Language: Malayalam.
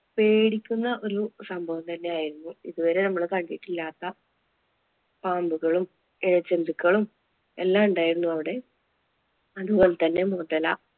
പേടിക്കുന്ന ഒരു സംഭവം തന്നെ ആയിരുന്നു. ഇതുവരെ നമ്മള് കണ്ടിട്ടില്ലാത്ത പാമ്പുകളും, ഇഴജന്തുക്കളും എല്ലാം ഉണ്ടായിരുന്നു അവിടെ. അതുപോലെ തന്നെ മുതല